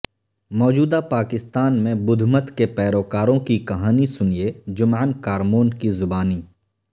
موجودہ پاکستان میں بدھ مت کے پیروکاروں کی کہانی سنیے جمعن کارمون کی زبانی